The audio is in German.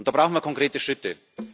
Dazu brauchen wir konkrete Schritte.